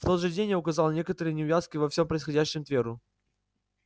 в тот же день я указал на некоторые неувязки во всём происходящем тверу